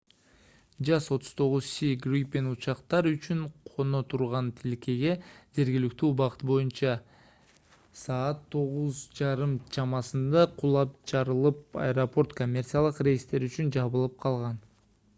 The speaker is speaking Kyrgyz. jas 39c gripen учактар учуп-коно турган тилкеге жергиликтүү убакыт боюнча 2:30 utc саат 9:30 чамасында кулап жарылып аэропорт коммерциялык рейстер үчүн жабылып калган